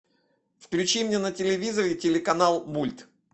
включи мне на телевизоре телеканал мульт